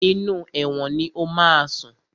Inú ẹ̀wọ̀n ni o máa sùn.